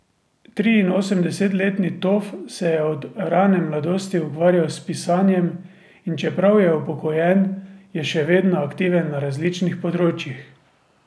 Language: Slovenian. Triinosemdesetletni Tof se je od rane mladosti ukvarjal s pisanjem, in čeprav je upokojen, je še vedno aktiven na različnih področjih.